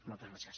moltes gràcies